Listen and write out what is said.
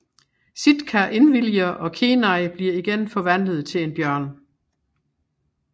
Sitka indviliger og Kenai bliver igen forvandlet til en bjørn